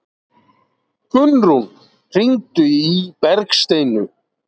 Gunnrún, hringdu í Bergsteinu.